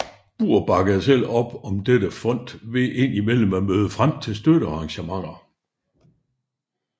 Burr bakkede selv op om dette fond ved ind imellem at møde frem til støttearrangementer